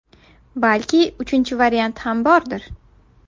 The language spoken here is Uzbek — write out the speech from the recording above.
Balki uchinchi variant ham bordir?